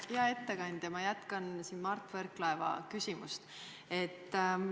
Hea ettekandja, ma jätkan Mart Võrklaeva küsimust.